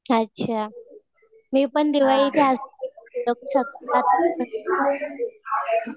अच्छा. मी पण दिवाळी